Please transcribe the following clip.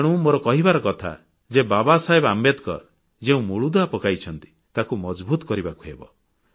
ତେଣୁ ମୋର କହିବାର କଥା ଯେ ବାବାସାହେବ ଆମ୍ବେଦକର ଯେଉଁ ମୂଳଦୁଆ ପକାଇଛନ୍ତି ତାକୁ ମଜଭୁତ କରିବାକୁ ହେବ